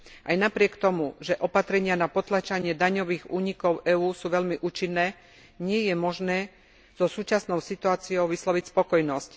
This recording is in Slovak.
Aj napriek tomu, že opatrenia na potláčanie daňových únikov EÚ sú veľmi účinné, nie je možné so súčasnou situáciou vysloviť spokojnosť.